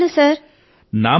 ధన్యవాదాలు సర్